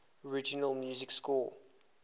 original music score